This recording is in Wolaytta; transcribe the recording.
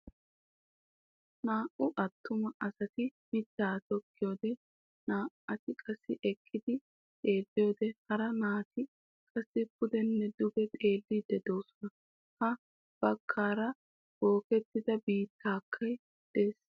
Naa"u attuma asati mitaa tokkiyode Naa"ati qassi eqqidi xeeliyode hara naa"ati qassi puddenne dugge xeelliidi de'oosona. Ha baggaara bookettida biittaykka de'ees.